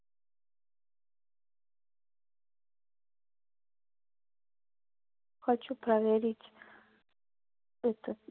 хочу проверить это